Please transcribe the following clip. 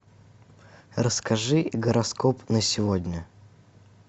расскажи гороскоп на сегодня